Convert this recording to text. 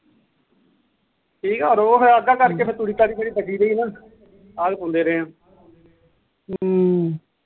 ਠੀਕਾ ਉਹ ਫਿਰ ਇਦਾ ਕਰਕੇ ਤੂੜੀ ਤਾੜੀ ਬਚੀ ਰਹੀ ਹਮ